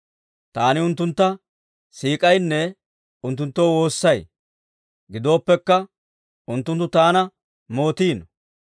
Taani unttuntta siik'aynne unttunttoo woossay; gidooppekka, unttunttu taana mootiino.